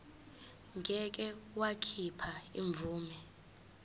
ngeke wakhipha imvume